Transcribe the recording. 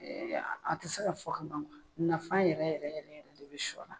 A ti se ka fɔ ka ban nafa yɛrɛ yɛrɛ yɛrɛ yɛrɛ de bi sɔ la